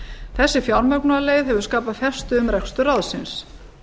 þessi fjármögnunarleið hefur skapað festu um rekstur ráðsins